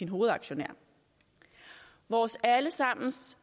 hovedaktionær vores alle sammens